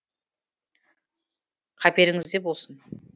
қаперіңізде болсын